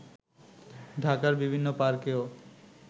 ঢাকার বিভিন্ন পার্কেও